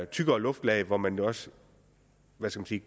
tykkere luftlag hvor man også